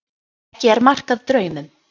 Ekki er mark að draumum.